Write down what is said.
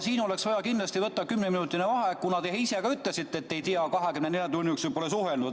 Siin oleks vaja kindlasti võtta kümneminutiline vaheaeg, kuna te ise ka ütlesite, et ei tea temast midagi ja pole 24 tunni jooksul temaga suhelnud.